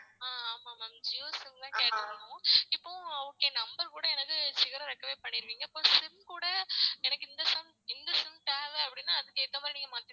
ஆஹ் ஆமா ma'amJio SIM கேற்றுந்தோம் இப்போவும் கூட okay number கூட எனக்கு சீக்ரம் recover பன்னிருவிங்க அப்போ SIM கூட எனக்கு இந்த sum இந்த SIM தேவைன்னா அதுக்கு ஏத்த மாதிரி நீங்க